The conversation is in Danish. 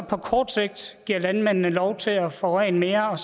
på kort sigt give landmændene lov til at forurene mere